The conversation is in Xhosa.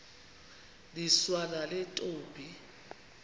niswa nale ntombi